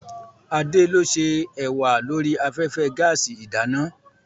Adé ló ṣé ẹ̀wà lórí afẹ́fẹ́ gaàsì ìdáná.